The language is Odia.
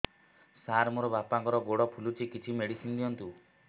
ସାର ମୋର ବାପାଙ୍କର ଗୋଡ ଫୁଲୁଛି କିଛି ମେଡିସିନ ଦିଅନ୍ତୁ